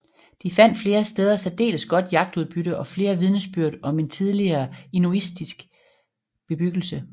De fandt flere steder særdeles godt jagtudbytte og flere vidnesbyrd om en tidligere inuitisk bebyggelse